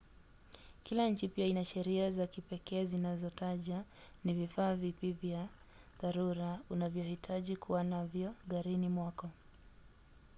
kila nchi pia ina sheria za kipekee zinazotaja ni vifaa vipi vya dharura unavyohitaji kuwa navyo garini mwako